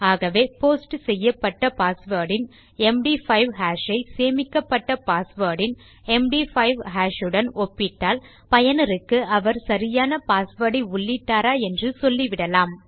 ஆகவே போஸ்ட் செய்யப்பட்ட பாஸ்வேர்ட் இன் எம்டி5 ஹாஷ் ஐ சேமிக்கப்பட்ட பாஸ்வேர்ட் இன் எம்டி5 ஹாஷ் உடன் ஒப்பிட்டால் பயனருக்கு அவர் சரியான பாஸ்வேர்ட் ஐ உள்ளிட்டாரா என்று சொல்லிவிடலாம்